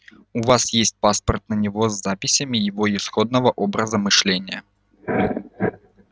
у вас есть паспорт на него с записями его исходного образа мышления